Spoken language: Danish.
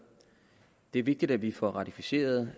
det er vigtigt at vi får ratificeret